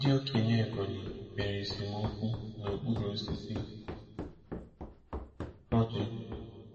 Ndị okenye Ebonyi kpere esemokwu n'okpuru osisi ọjị.